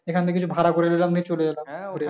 এখান থেকে কিছু ভাড়া করে নিলাম নিয়ে চলে গেলাম।